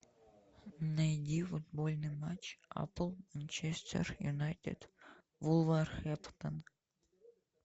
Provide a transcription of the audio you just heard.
найди футбольный матч апл манчестер юнайтед вулверхэмптон